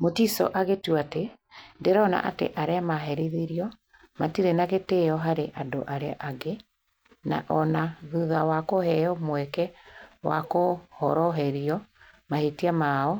Mutiso agĩtua atĩ, "Ndĩrona atĩ arĩa maherithĩtio matirĩ na gĩtĩo harĩ andũ arĩa angĩ na o na thutha wa kũheo mweke wa kũhoroherio mahĩtia mao,